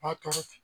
Maa tɔw ten